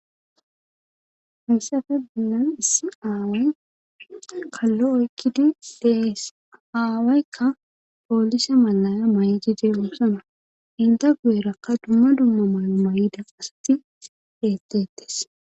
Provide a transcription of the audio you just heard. Misafe binan issi aaway kallo ekkidi dees aawaykka poolise malaya may7ijide ussana inda guerakka dumma dumma mayo may7ida qasati deettettes